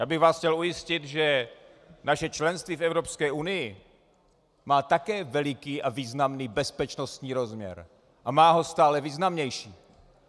Já bych vás chtěl ujistit, že naše členství v Evropské unii má také veliký a významný bezpečnostní rozměr a má ho stále významnější.